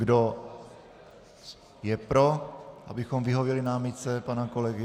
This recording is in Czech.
Kdo je pro, abychom vyhověli námitce pana kolegy?